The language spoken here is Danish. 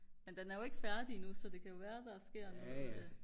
men den er jo ikke færdig endnu så det kan jo være der sker noget